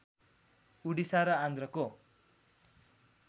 उडिसा र आन्ध्रको